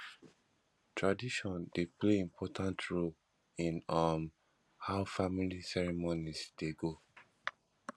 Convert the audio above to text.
tradition dey play important role in um how family ceremonies dey go